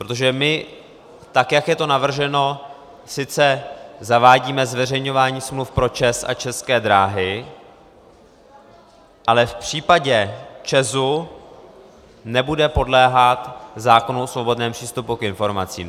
Protože my, tak jak je to navrženo, sice zavádíme zveřejňování smluv pro ČEZ a České dráhy, ale v případě ČEZu nebude podléhat zákonu o svobodném přístupu k informacím.